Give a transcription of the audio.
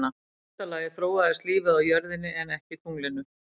Í fyrsta lagi þróaðist lífið á jörðinni en ekki tunglinu.